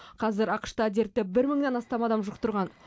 қазір ақш та дертті бір мыңнан астам адам жұқтырған